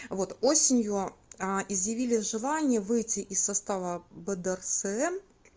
вот осенью а изъявили желание выйти из состава бдрсм